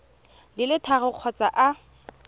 di le tharo kgotsa a